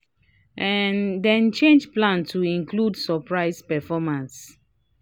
um dem change plan to include surprise performance."